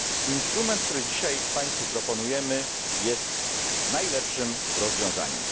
Instrument, który dzisiaj Państwu proponujemy, jest najlepszym rozwiązaniem.